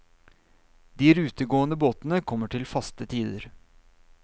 De rutegående båtene kommer til faste tider.